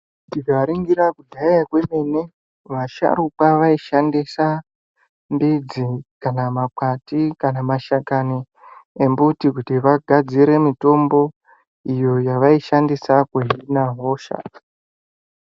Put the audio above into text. Tikaringira kudhaya kwemene, vasharukwa vaishandisa midzi, kana makwati, kana mashakani embuti kuti vagadzire mitombo, iyo yevaishandisa kuhina hosha.